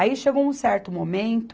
Aí chegou um certo momento,